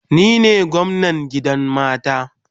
Ni ne gwamnan gidan mata